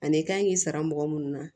Ani i kan k'i sara mɔgɔ munnu na